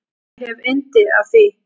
Ég hef yndi af því.